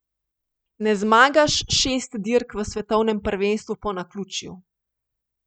Ne zmagaš šest dirk v svetovnem prvenstvu po naključju.